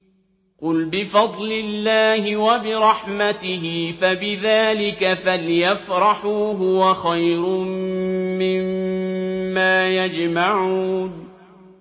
قُلْ بِفَضْلِ اللَّهِ وَبِرَحْمَتِهِ فَبِذَٰلِكَ فَلْيَفْرَحُوا هُوَ خَيْرٌ مِّمَّا يَجْمَعُونَ